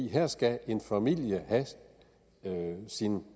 her skal en familie have sin